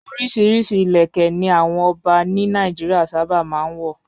Oríṣiríṣi ìlẹ̀kẹ́ ni àwọn ọba ní Nàìjíríà sábà máa ń wọ̀.